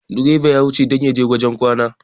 direban ya wuce don ya je wajen kwana